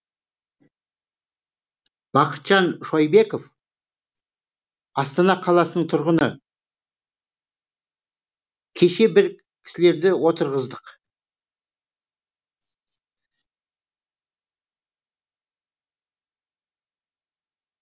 бақытжан шойбеков астана қаласының тұрғыны кеше бір кісілерді отырғыздық